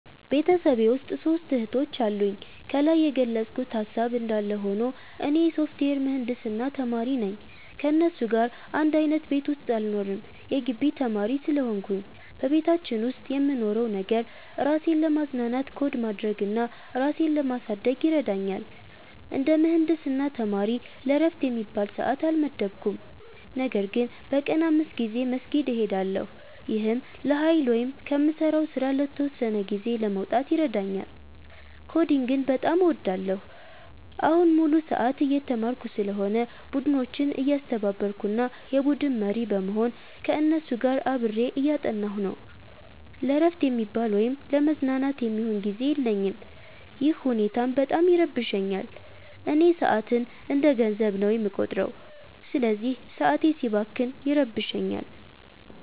ቤተሰቤ ውስጥ ሦስት እህቶች አሉኝ። ከላይ የገለጽኩት ሃሳብ እንዳለ ሆኖ፣ እኔ የሶፍትዌር ምህንድስና ተማሪ ነኝ። ከእነሱ ጋር አንድ አይነት ቤት ውስጥ አልኖርም የጊቢ ተማሪ ስለሆንኩኝ። በቤታችን ውስጥ የምንኖረው ነገር፣ ራሴን ለማዝናናት ኮድ ማድረግ እና ራሴን ለማሳደግ ይረዳኛል። እንደ ምህንድስና ተማሪ ለዕረፍት የሚባል ሰዓት አልመደብኩም፤ ነገር ግን በቀን 5 ጊዜ መስጊድ እሄዳለሁ። ይህም ለኃይል ወይም ከምሠራው ሥራ ለተወሰነ ጊዜ ለመውጣት ይረዳኛል። ኮዲንግን በጣም እወዳለሁ። አሁን ሙሉ ሰዓት እየተማርኩ ስለሆነ፣ ቡድኖችን እያስተባበርኩ እና የቡድን መሪ በመሆን ከእነሱ ጋር አብሬ እያጠናሁ ነው። ለዕረፍት የሚባል ወይም ለመዝናናት የሚሆን ጊዜ የለኝም፤ ይህ ሁኔታም በጣም ይረብሸኛል። እኔ ሰዓትን እንደ ገንዘብ ነው የምቆጥረው፤ ስለዚህ ሰዓቴ ሲባክን ይረብሸኛል